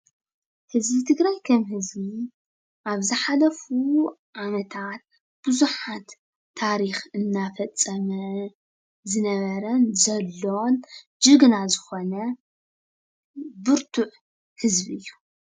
ህዝቢ ትግራይ ከም ህዝቢ ኣብ ዝሓለፉ ዓመታት ብዙሓት ታሪክ እናፈፀመ ዝነበረን ዘሎን ጅግና ዝኾነ ብርቱዕ ህዝቢ እዩ፡፡